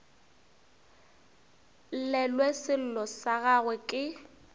llelwe sello sa gagwe ke